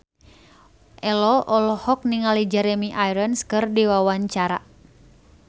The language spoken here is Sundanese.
Ello olohok ningali Jeremy Irons keur diwawancara